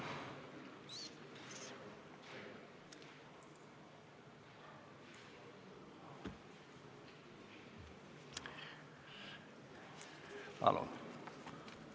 Palun!